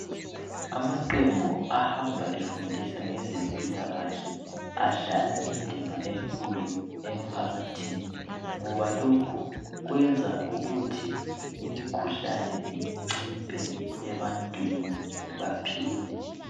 Amaqembu ahamba efundisa ngezempilakahle adlala indima enkulu emphakathini ngoba lokhu kwenza ukuthi imikhuhlane inciphe ebantwini baphile.